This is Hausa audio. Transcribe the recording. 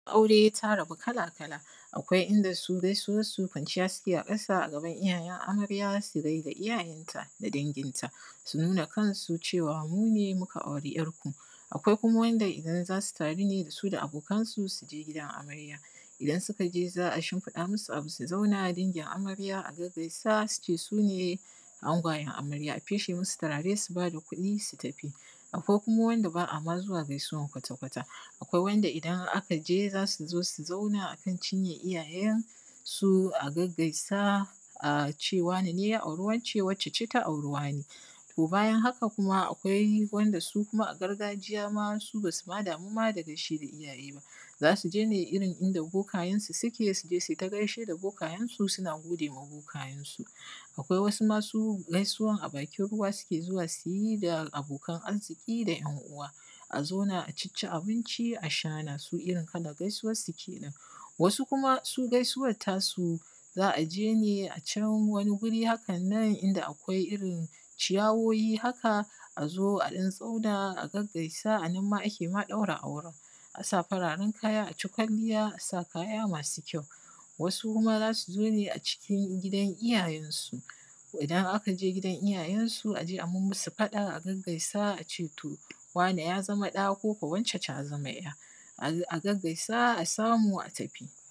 aure ta rabu kala kala akwai inda su gaisuwan su kwanciya suke a ƙasa a gaban iyayen amarja su gaida iiyayenta da danginta su nuna kansu cewa mu ne mu ka auri ƴarku akwai kuma wanda idan zasu taru ne su da abokansu su je gidan amarya idan suka je za'a shimfiɗa musu abu su zauna dangin amarya a gagaisa su ce sune angwayen amarya a feshe musu turare su bada kuɗi su tafi: akwai kuma wanda ba'a ma zuwa gaisuwan kwata kwata akwai wanda idan aka je zasu zosu zauna a kan cinyan iyayensu a gagaisa a ce wane neya auri wacce wacce ce ta auri wane bayan haka kuma akwai wanda su kuma a gargajiya ma su ba su ma damu ba da gaishe da iyaye ba za su je ne irin inda boka yensu suke suje su yi ta gaishe da boka yensu suna gode ma boka yensu akwai wasu masu gaisuwan a bakin ruwa suke:zuwa su yi da abokan arziki da ƴan uwa a zauna a cicci abinci a sha na su irin kalan gaisuwansu kenan wasu kuma su gaisuwar ta su za a je ne a can wani guri haka nan inda akwai irin ciyawoyi haka a zo a ɗan zauna a gaggaisa a nan ma ake ma ɗaura auren a sa fararen kaya a ci kwalliya a sa kaya ma:su kyau wasu kuma za su zo ne cikin gidan iyayensu idan aka je gidan iyayensu a je a mummusu faɗa a gaggaisa a ce to wane ja zama ɗa ko wacce taa zama ƴa a gaggaisa a samu a tafi